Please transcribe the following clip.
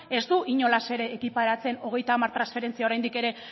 ez du inolaz ere ekiparatzen hogeita hamar transferentzia oraindik ere